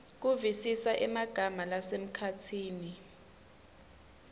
kuvisisa emagama lasemkhatsini